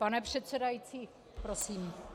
Pane předsedající, prosím!